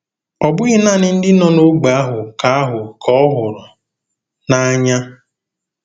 Ọ bụghị naanị ndị nọ n'ógbè ahụ ka ahụ ka ọ hụrụ n'anya.